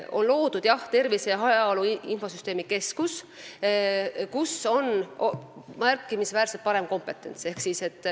On loodud Tervise ja Heaolu Infosüsteemide Keskus, kus on märkimisväärselt suurem pädevus.